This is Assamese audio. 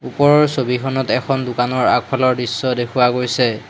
ওপৰৰ ছবিখনত এখন দোকানৰ আগফালৰ দৃশ্য দেখুওৱা গৈছে।